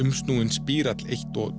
spírall eins og